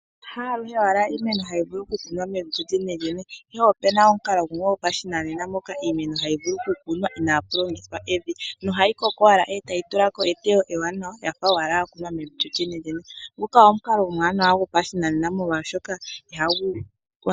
Haaluhe owala iiimeno hayi vulu okukunwa mevi lyo lyenelyene. Ihe opena omukalo gumwe gopashinanena moka iimeno hayi vulu kukunwa, inaapu longithwa evi, nohayi koko owala e tayi tulako eteyo ewanawa. Ya fa owala ya kunwa mevi lyo lyenelyene. Nguka omukalo omuwanawa gopashinanena.